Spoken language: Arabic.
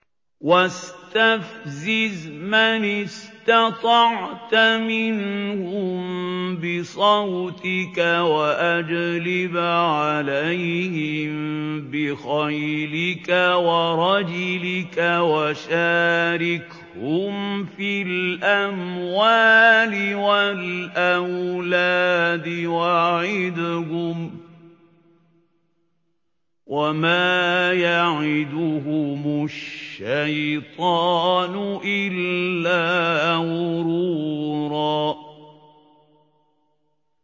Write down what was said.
وَاسْتَفْزِزْ مَنِ اسْتَطَعْتَ مِنْهُم بِصَوْتِكَ وَأَجْلِبْ عَلَيْهِم بِخَيْلِكَ وَرَجِلِكَ وَشَارِكْهُمْ فِي الْأَمْوَالِ وَالْأَوْلَادِ وَعِدْهُمْ ۚ وَمَا يَعِدُهُمُ الشَّيْطَانُ إِلَّا غُرُورًا